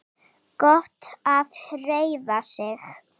Gott að hreyfa sig.